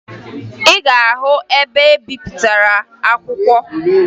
Ị ga-ahụ ebe ahụ a na-ebipụta akwụkwọ